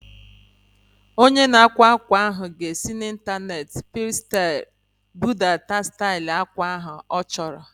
Onye ịkwa ákwà ahu ga-esi n'intaneeti Pintrestị budata stail akwa ahu ọ chọrọ